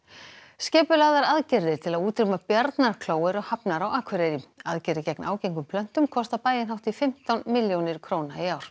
skipulagðar aðgerðir til að útrýma bjarnarkló eru hafnar á Akureyri aðgerðir gegn ágengum plöntum kosta bæinn hátt í fimmtán milljónir króna í ár